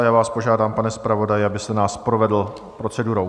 A já vás požádám, pane zpravodaji, abyste nás provedl procedurou.